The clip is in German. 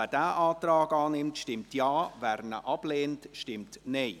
Wer diesen Antrag annimmt, stimmt Ja, wer ihn ablehnt, stimmt Nein.